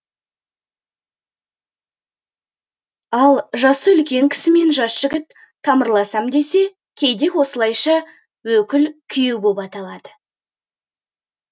ал жасы үлкен кісімен жас жігіт тамырласам десе кейде осылайша өкіл күйеу боп аталады